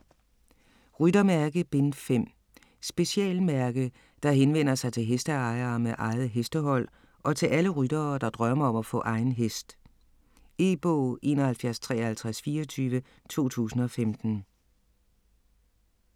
Ryttermærke: Bind 5 Specialmærke, der henvender sig til hesteejere med eget hestehold og til alle ryttere, der drømmer om at få egen hest. E-bog 715324 2015.